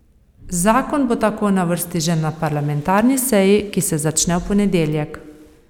Zakon bo tako na vrsti že na parlamentarni seji, ki se začne v ponedeljek.